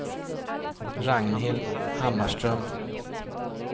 Ragnhild Hammarström